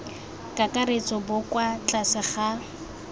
kakaretso bo kwa tlase ga